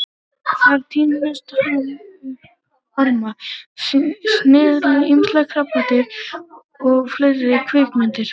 Þar tínir hann upp orma, snigla, ýmis krabbadýr og fleiri kvikindi.